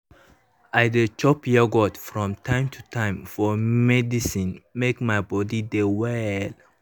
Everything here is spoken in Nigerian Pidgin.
i dey chop yoghurt from time to time for medicine make my body dey well.